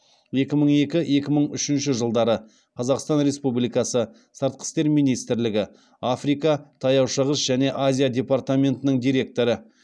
екі мың екі екі мың үшінші жылдары қазақстан республикасы сыртқы істер министрлігі африка таяу шығыс және азия департаментінің директоры